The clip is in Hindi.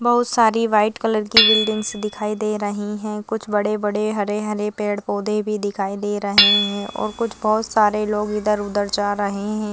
बहुत सारी व्हाइट कलर की बिल्डिंग्स दिखाई दे रही है कुछ बड़े -बड़े हरे -हरे पेड़- पौधे भी दिखाई दे रहे है और कुछ बहुत सारे लोग इधर -उधर जा रहे हैं।